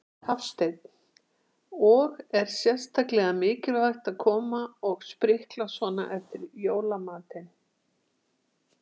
Hafsteinn: Og er sérstaklega mikilvægt að koma og sprikla svona eftir jólamatinn?